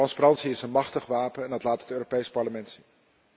Transparantie is een machtig wapen en dat laat het Europees Parlement zien.